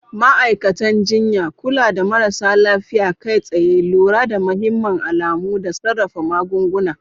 Ma'aikatan jinya: Kula da marasa lafiya kai tsaye, lura da mahimman alamu, da sarrafa magunguna.